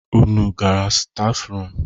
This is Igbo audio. Unu gara stafrum?